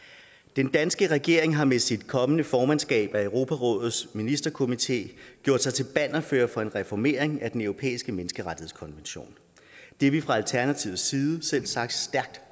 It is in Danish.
den danske regering har med sit kommende formandskab af europarådets ministerkomité gjort sig til bannerfører for en reformering af den europæiske menneskerettighedskonvention det er vi fra alternativets side selvsagt stærkt